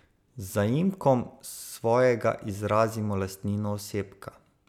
Z zaimkom svojega izrazimo lastnino osebka.